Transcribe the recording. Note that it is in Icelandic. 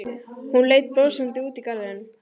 Hún leit brosandi út í garðinn.